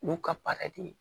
Olu ka baara de ye